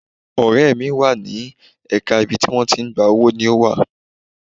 Ọ̀rẹ́ mi wà ní ẹ̀ka ibi tí wọ́n ti ń gba owó ni ó wà.